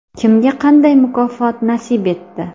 Kimga qanday mukofot nasib etdi?